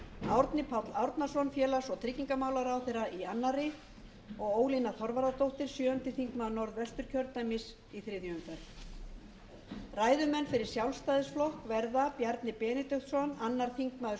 árni páll árnason félags og tryggingamálaráðherra í annarri og ólína þorvarðardóttir sjöundi þingmaður norðvesturkjördæmis í þriðju umferð ræðumenn fyrir sjálfstæðisflokk verða bjarni benediktsson annar þingmaður